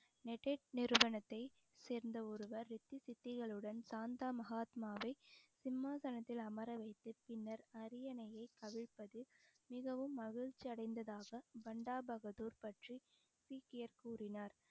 நிறுவனத்தை சேர்ந்த ஒருவர் ரித்தி சித்திகளுடன் சாந்தா மகாத்மாவை சிம்மாசனத்தில் அமர வைத்து பின்னர் அரியணையை கவிழ்ப்பது மிகவும் மகிழ்ச்சி அடைந்ததாக பண்டா பகதூர் பற்றி சீக்கியர் கூறினார்